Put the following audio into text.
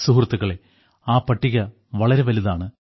സുഹൃത്തുക്കളേ ആ പട്ടിക വളരെ വലുതാണ്